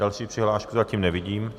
Další přihlášku zatím nevidím.